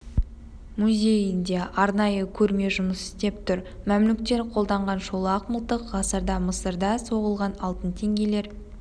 музейінде арнайы көрме жұмыс істеп тұр мәмлүктер қолданған шолақ мылтық ғасырда мысырда соғылған алтын теңгелер